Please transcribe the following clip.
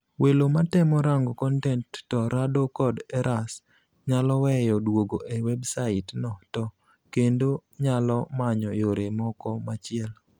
Welo matemo rango kontent to rado kod eras nyaloweyo duogo e websait no to kendo nyalo manyo yore moko machielo.